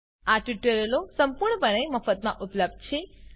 આ ટ્યુટોરીયલો સંપૂર્ણપણે મફતમાં ઉપલબ્ધ છે